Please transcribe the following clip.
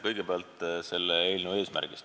Kõigepealt eelnõu eesmärgist.